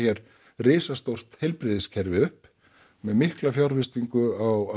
risastórt heilbrigðiskerfi upp með mikla fjárfestingu á